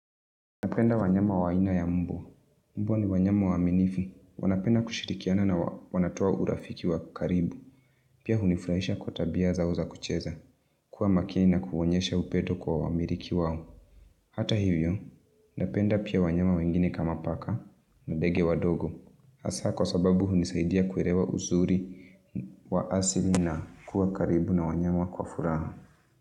Napenda wanyama wa aina ya mbwa. Mbwa ni wanyama waminifu. Wanapenda kushirikiana na wanatoa urafiki wa karibu. Pia hunifurahisha kwa tabia zao za kucheza. Kuwa makini na kuonyesha upendo kwa wamiliki wao. Hata hivyo, napenda pia wanyama wengine kama paka na ndege wadogo. Hasaa kwa sababu hunisaidia kuelewa uzuri wa asili na kuwa karibu na wanyama kwa furaha.